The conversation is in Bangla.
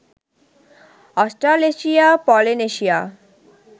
Australasia, Polynesia